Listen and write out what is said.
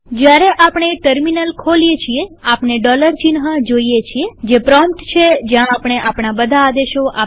જયારે આપણે ટર્મિનલ ખોલીએ છીએ આપણે ડોલર ચિહ્ન જોઈએ છીએજે પ્રોમ્પ્ટ છે જ્યાં આપણે આપણા બધા આદેશો આપીશું